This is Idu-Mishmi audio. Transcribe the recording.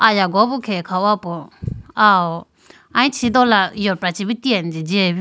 Aya hoga bi khege kha hopo aw aluchi dola yopra chibi tine jiyayibi.